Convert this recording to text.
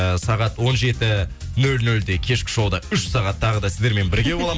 і сағат он жеті нөл нөлде кешкі шоуда үш сағат тағы да сіздермен бірге боламын